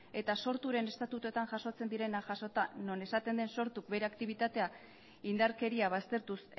eta sorturen estatutuetan jasotzen direnak jasota non esaten den sortu bere aktibitatea indarkeria baztertuz